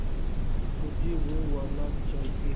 मुझे वो वाला चाहिए